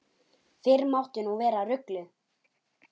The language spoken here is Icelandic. Fyrr mátti nú vera ruglið!